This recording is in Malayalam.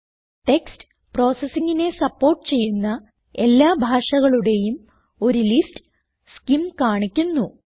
ടെക്സ്റ്റ് processingനെ സപ്പോർട്ട് ചെയ്യുന്ന എല്ലാ ഭാഷകളുടേയും ഒരു ലിസ്റ്റ് സ്കിം കാണിക്കുന്നു